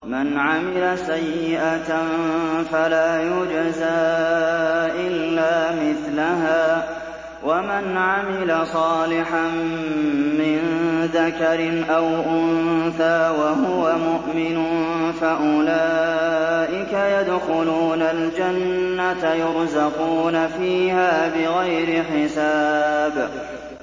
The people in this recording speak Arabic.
مَنْ عَمِلَ سَيِّئَةً فَلَا يُجْزَىٰ إِلَّا مِثْلَهَا ۖ وَمَنْ عَمِلَ صَالِحًا مِّن ذَكَرٍ أَوْ أُنثَىٰ وَهُوَ مُؤْمِنٌ فَأُولَٰئِكَ يَدْخُلُونَ الْجَنَّةَ يُرْزَقُونَ فِيهَا بِغَيْرِ حِسَابٍ